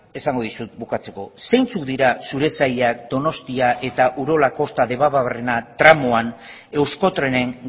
esango dizut bukatzeko zeintzuk dira zure sailak donostia eta urola kosta debabarrena tramoan euskotrenen